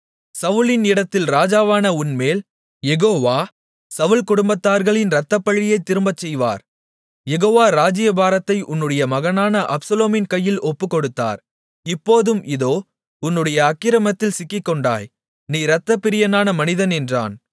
சவுலின் இடத்தில் ராஜாவான உன்மேல் யெகோவா சவுல் குடும்பத்தார்களின் இரத்தப்பழியைத் திரும்பச் செய்வார் யெகோவா ராஜ்ஜியபாரத்தை உன்னுடைய மகனான அப்சலோமின் கையில் ஒப்புக்கொடுத்தார் இப்போதும் இதோ உன்னுடைய அக்கிரமத்தில் சிக்கிக்கொண்டாய் நீ இரத்தப்பிரியனான மனிதன் என்றான்